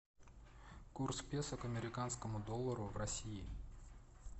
курс песо к американскому доллару в россии